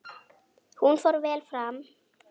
Hún fór vel fram.